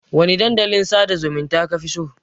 Wane dandalin sada zumunta kafi so?